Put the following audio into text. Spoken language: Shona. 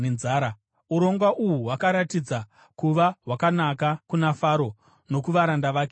Urongwa uhu hwakaratidza kuva hwakanaka kuna Faro nokuvaranda vake vose.